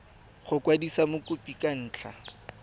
go kwadisa mokopi ka ntlha